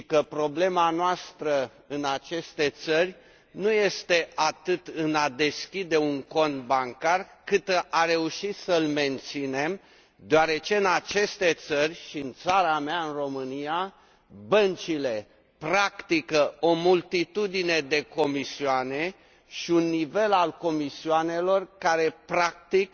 Problema noastră în aceste țări nu este atât în a deschide un cont bancar, cât în a reuși să îl menținem, deoarece în aceste țări și în țara mea, în România, băncile practică o multitudine de comisioane și un nivel al comisioanelor care, practic,